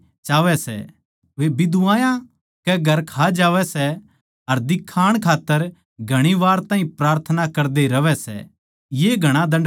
वे बिधवायाँ के घर खा जावै सै अर दिखाण खात्तर घणी वार ताहीं प्रार्थना करदे रहवै सै ये घणा दण्ड पावैगें